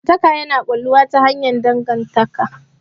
Abokantaka yana ƙulluwa ta hanyar dangantaka.